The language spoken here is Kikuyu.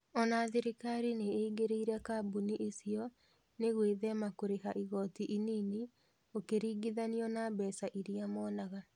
Ona thirikari nĩĩngĩrĩire kambuni icio nĩ gwĩthema kũrĩha igoti inini ũkĩringithanio na mbeca iria monaga.